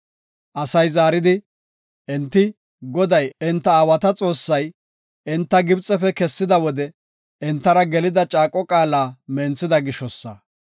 Asay zaaridi, “Enti Goday, enta aawata Xoossay, enta Gibxefe kessida wode entara gelida caaqo qaala menthida gishosa.